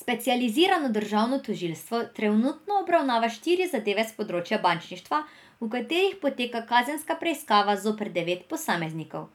Specializirano državno tožilstvo trenutno obravnava štiri zadeve s področja bančništva, v katerih poteka kazenska preiskava zoper devet posameznikov,